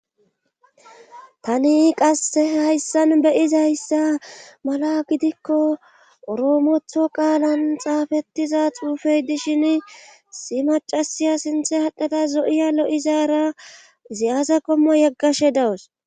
tani qasse hayssan beyizayssa mala gidikko oroomotho qaalan xaafettiza xuufey dishin isi macasiya sinthe adhada zo'iya lo'izaara izi aza qommo yeggashe dawus